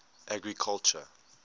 agriculture